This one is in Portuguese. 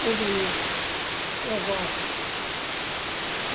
Tudo isso, eu gosto.